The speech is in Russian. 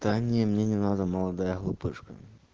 мне не надо молодая глупышка